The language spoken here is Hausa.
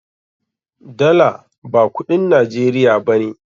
Dala ba kudin Najeriya ba ne.